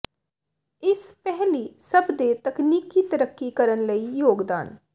ਇਸ ਪਹਿਲੀ ਸਭ ਦੇ ਤਕਨੀਕੀ ਤਰੱਕੀ ਕਰਨ ਲਈ ਯੋਗਦਾਨ